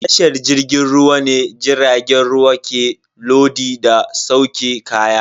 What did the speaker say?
A tashar jirgin ruwa ne jiragen ruwa ke lodi da sauke kaya.